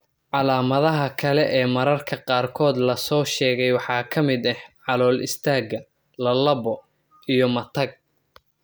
Calaamadaha kale ee mararka qaarkood la soo sheegay waxaa ka mid ah calool-istaagga, lallabbo, iyo/ama matag.